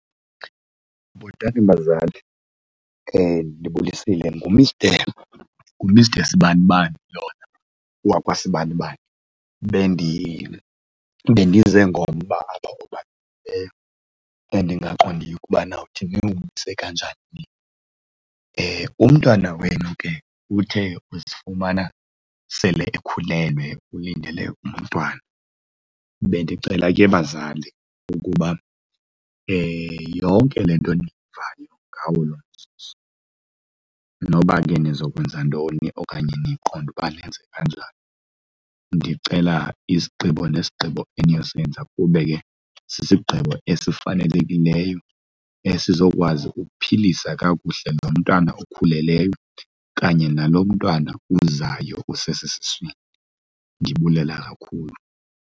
Bhotani bazali, ndibulisile. NguMr, nguMr Sibanibabani lona wakwaSibanibani. Bendize ngomba apha endingaqondiyo ukuba nawuthi niwumise kanjani na. Umntwana wenu ke uthe uzifumana sele ekhulelwe, ulindele umntwana. Bendicela ke bazali ukuba yonke le nto eniyivayo ngawo lo mzuzu noba ke nizo kwenza ntoni okanye niqonde uba nenze kanjani ndicela isigqibo nesigqibo eniyosebenza kube ke sisigqibo esifanelekileyo esizokwazi ukuphilisa kakuhle lo mntana okhulelweyo kanye nalo mntwana uzayo usesesiswini. Ndibulela kakhulu.